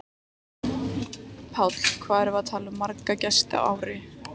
Páll: Hvað erum við að tala um marga gesti í ár?